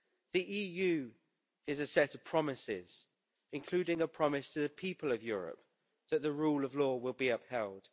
The EU is a set of promises, including a promise to the people of Europe that the rule of law will be upheld.